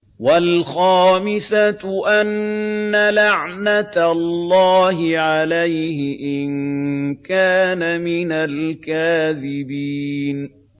وَالْخَامِسَةُ أَنَّ لَعْنَتَ اللَّهِ عَلَيْهِ إِن كَانَ مِنَ الْكَاذِبِينَ